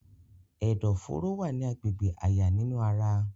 Ẹdọfóró wa ni agbegbe àyà ninu ara.